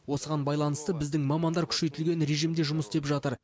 осыған байланысты біздің мамандар күшейтілген режимде жұмыс істеп жатыр